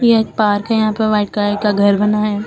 एक पार्क है यहां पे व्हाइट कलर का घर बना है।